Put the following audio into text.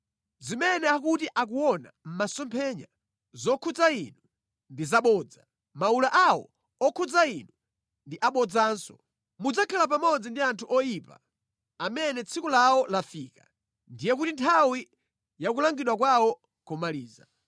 Zimene akuti akuona mʼmasomphenya zokhudza inu ndi zabodza. Mawula awo okhudza inu ndi abodzanso. Mudzakhala pamodzi ndi anthu oyipa amene tsiku lawo lafika, ndiye kuti nthawi ya kulangidwa kwawo komaliza.